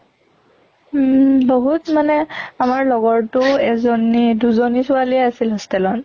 উম বহুত মানে আমাৰ লগৰতো এজনী দুজনী ছোৱালী আছিল hostel ত